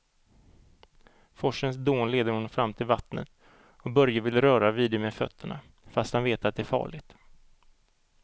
Forsens dån leder honom fram till vattnet och Börje vill röra vid det med fötterna, fast han vet att det är farligt.